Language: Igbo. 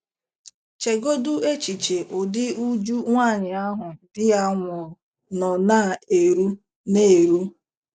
Chegodị echiche ụdị uju nwaanyị ahụ di ya nwụrụ nọ na - eru na - eru.